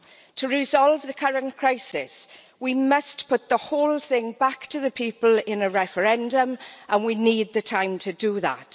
To resolve the current crisis, we must put the whole thing back to the people in a referendum, and we need the time to do that.